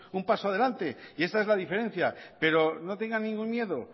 un paso adelante y esta es la diferencia pero no tengan ningún miedo